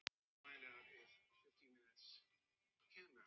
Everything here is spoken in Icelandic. Og hver er nú stefna þeirra?